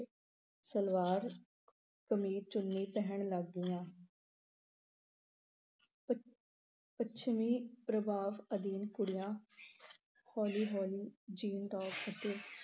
ਸਲਵਾਰ, ਕਮੀਜ, ਚੁੰਨੀ ਪਹਿਨਣ ਲੱਗ ਪਈਆਂ। ਪ ਅਹ ਪੱਛਮੀ ਪ੍ਰਭਾਵ ਅਧੀਨ ਕੁੜੀਆਂ ਹੌਲੀ-ਹੌਲੀ jean, top ਅਤੇ